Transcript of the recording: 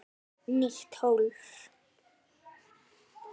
Nýtt hólf.